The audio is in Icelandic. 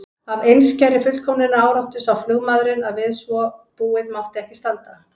Af einskærri fullkomnunaráráttu sá flugmaðurinn að við svo búið mátti ekki standa.